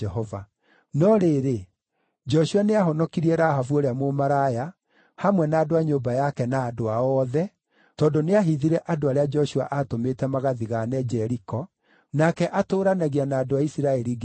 No rĩrĩ, Joshua nĩahonokirie Rahabu ũrĩa mũmaraya, hamwe na andũ a nyũmba yake na andũ ao othe, tondũ nĩahithire andũ arĩa Joshua aatũmĩte magathigaane Jeriko nake atũũranagia na andũ a Isiraeli nginya ũmũthĩ.